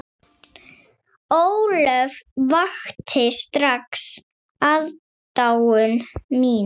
Ólöf vakti strax aðdáun mína.